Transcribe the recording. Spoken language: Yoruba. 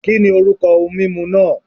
Kìnì orúkọ ohun mímu náà